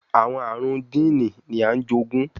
Awọn arun jiini ni a jogun